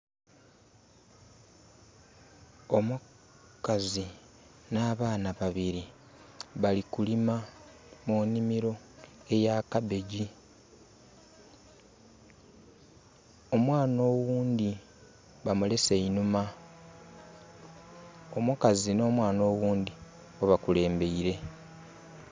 Omukazi na baana babiri bali kulima mu nimiro eya kabegi. Omwana owundi bamulese einhuma. Omukazi no mwana owundi bo bakulembeire